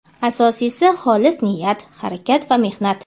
Asosiysi xolis niyat, harakat va mehnat.